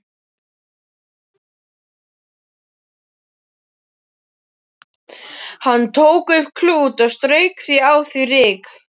Hann tók upp klút og strauk af því ryk.